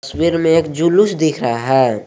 तस्वीर में एक जुलूस दिख रहा है।